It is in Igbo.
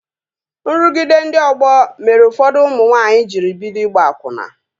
Nrụgide ndị ọgbọ mere ụfọdụ ụmụ nwanyị jiri bido ịgba akwụna